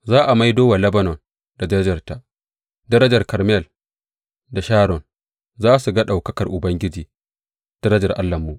Za a maido wa Lebanon da darajarta, darajar Karmel da Sharon; za su ga ɗaukakar Ubangiji, darajar Allahnmu.